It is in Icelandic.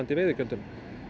veiðigjöldum